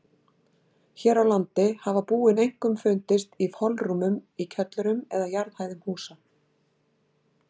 Hér á landi hafa búin einkum fundist í holrúmum í kjöllurum eða jarðhæðum húsa.